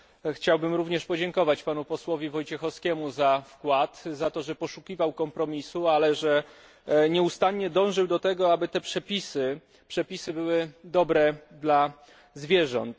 Chciałbym również podziękować panu posłowi Wojciechowskiemu za wkład, za to, że poszukiwał kompromisu, ale że nieustannie dążył też do tego, aby przepisy te były dobre dla zwierząt.